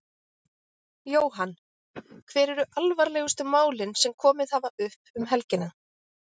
Jóhann: Hver eru alvarlegustu málin sem komið hafa upp um helgina?